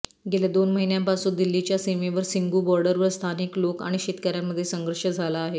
गेल्या दोन महिन्यांपासून दिल्लीच्या सीमेवर सिंघू बॉर्डरवर स्थानिक लोक आणि शेतकऱ्यांमध्ये संघर्ष झाला आहे